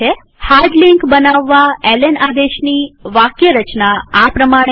hard link બનાવવા L N આદેશની વાક્યરચના આ પ્રમાણે છે